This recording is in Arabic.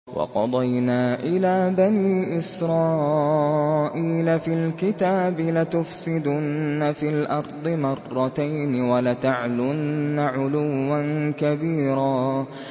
وَقَضَيْنَا إِلَىٰ بَنِي إِسْرَائِيلَ فِي الْكِتَابِ لَتُفْسِدُنَّ فِي الْأَرْضِ مَرَّتَيْنِ وَلَتَعْلُنَّ عُلُوًّا كَبِيرًا